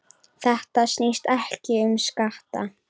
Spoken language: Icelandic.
Þetta snýst ekki um skatta.